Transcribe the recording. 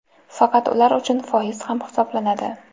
faqat ular uchun foiz ham hisoblanadi.